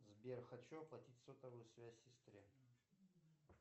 сбер хочу оплатить сотовую связь сестре